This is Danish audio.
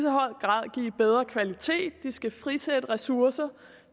bedre kvalitet de skal frisætte ressourcer